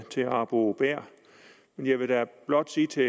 til herre arbo bæhr jeg vil da blot sige til